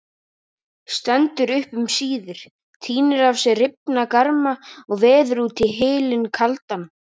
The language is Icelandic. Stendur upp um síðir, tínir af sér rifna garma og veður út í hylinn kaldan.